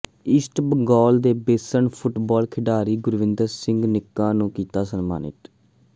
East Bengal ਦੇ best football ਖਿਡਾਰੀ ਗੁਰਵਿੰਦਰ ਸਿੰਘ ਨਿੱਕਾ ਨੂੰ ਕੀਤਾ ਸਨਮਾਨਿਤ